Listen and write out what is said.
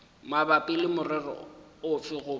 mabapi le morero ofe goba